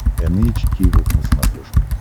эн эйч кей волд на смотрешке